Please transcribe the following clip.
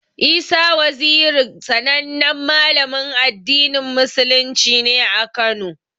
Isa Waziri sanannen Malamin addinin musulunci ne a Kano.